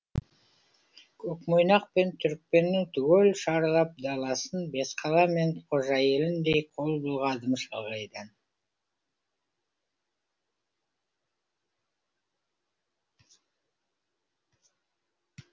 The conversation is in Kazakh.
көкмойнақпен түрікпеннің түгел шарлап даласын бесқала мен қожа еліндей қол бұлғадым шалғайдан